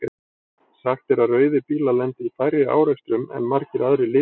Sagt er að rauðir bílar lendi í færri árekstrum en margir aðrir litir.